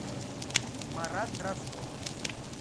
марат дроздов